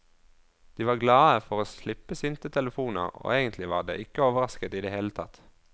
De var glade for å slippe sinte telefoner, og egentlig var de ikke overrasket i det hele tatt.